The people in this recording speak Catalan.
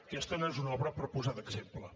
aquesta no és una obra per posar d’exemple